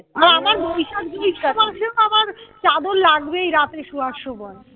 আর আমার বৈশাখ জ্যৈষ্ঠ মাসেও না আমার চাদর লাগবেই রাত্রে শোয়ার সময়